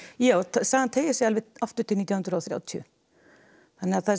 sagan teygir sig alveg aftur til nítján hundruð og þrjátíu þannig að þessi